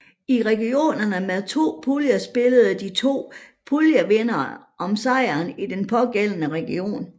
I regionerne med to puljer spillede de to puljevindere om sejren i den pågældende region